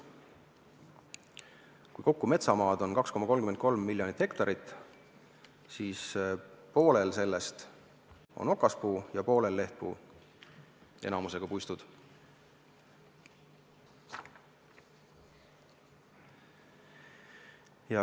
Metsamaad kokku on meil 2,33 miljonit hektarit, poolel sellest on okaspuu ja poolel lehtpuu enamusega puistud.